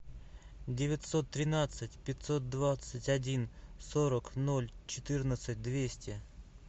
девятьсот тринадцать пятьсот двадцать один сорок ноль четырнадцать двести